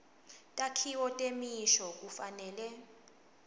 takhiwo temisho kufanele